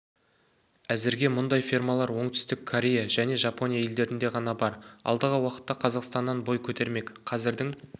әзірге мұндай фермалар оңтүстік корея және жапония елдерінде ғана бар алдағы уақытта қазақстаннан бой көтермек қазірдің